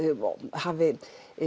hafi